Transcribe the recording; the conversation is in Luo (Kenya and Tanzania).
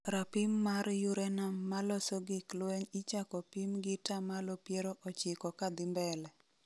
rapim mar uranuim maloso gik lweny ichako pim gi tamalo piero ochiko kadhi mbele